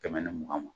Kɛmɛ ni mugan ma